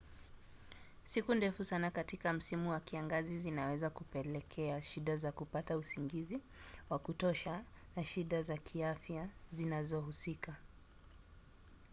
siku ndefu sana katika msimu wa kiangazi zinaweza kupelekea shida za kupata usingizi wa kutosha na shida za kiafya zinazohusika